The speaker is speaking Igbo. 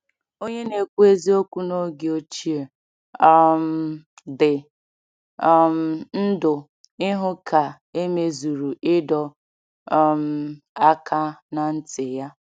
Onye na-ekwu eziokwu n’oge ochie um dị um ndụ ịhụ ka e mezuru ịdọ um aka ná ntị ya.